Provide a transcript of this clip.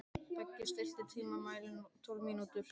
Beggi, stilltu tímamælinn á tólf mínútur.